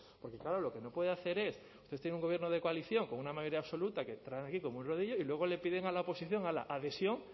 porque claro lo que no puede hacer es tener un gobierno de coalición con una mayoría absoluta que traen aquí como un rodillo y luego le piden a la oposición hala adhesión